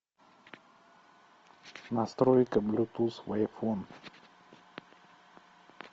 настройка блютуз в айфон